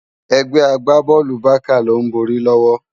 Egbè àgbábòlú Bàká ló n bòri lòwò